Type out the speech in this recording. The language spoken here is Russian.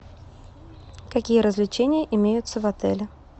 какие развлечения имеются в отеле